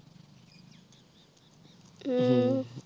ਹਮ